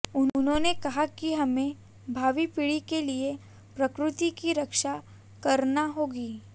उन्होंने कहा कि हमें भावी पीढ़ी के लिये प्रकृति की रक्षा करना होगी